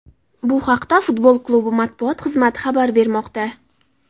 Bu haqda futbol klubi matbuot xizmati xabar bermoqda .